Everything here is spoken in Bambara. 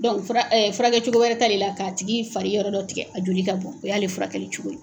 fura furakɛ cogo wɛrɛ t'ale la k'a tigi fari yɔrɔ dɔ tigɛ a joli ka bɔn o y'ale furakɛli cogo ye.